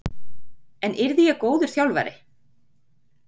En yrði ég góður þjálfari?